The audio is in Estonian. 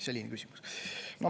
Selline küsimus.